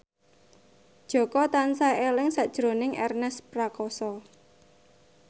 Jaka tansah eling sakjroning Ernest Prakasa